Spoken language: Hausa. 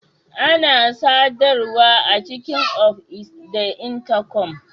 Ana sadarwa a cikin of is da Intakom.